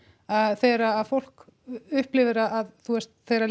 þegar að fólk upplifir að þú veist þegar